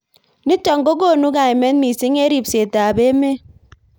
Nitok kokonu kaimet mising eng ribset ab emet.